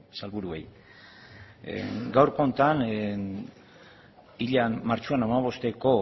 sailburuei gaurko honetan martxoaren bosteko